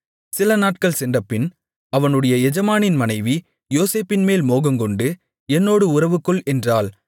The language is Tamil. சிலநாட்கள் சென்றபின் அவனுடைய எஜமானின் மனைவி யோசேப்பின்மேல் மோகம்கொண்டு என்னோடு உறவுகொள் என்றாள்